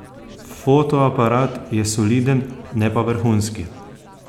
Fotoaparat je soliden, ne pa vrhunski.